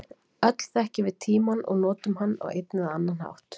öll þekkjum við tímann og notum hann á einn eða annan hátt